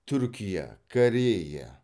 түркия корея